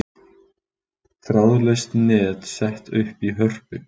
Þráðlaust net sett upp í Hörpu